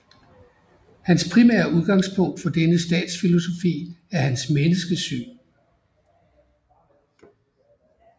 Hans primære udgangspunkt for denne statsfilosofi er hans menneskesyn